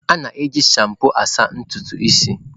A na-eji shampoo na-asa ntutu isi.